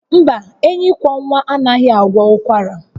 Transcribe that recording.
Mba, enyikwọnwa anaghị agwọ ụkwara